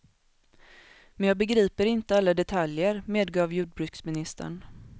Men jag begriper inte alla detaljer, medgav jordbruksministern.